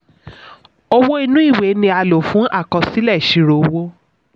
owó inú ìwé' ni a lò fún àkọsílẹ̀ ìṣirò owó.